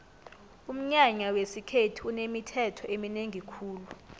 umnyanya wesikhethu unemithetho eminengi khulu